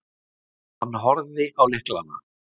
Hann horfði á lyklana.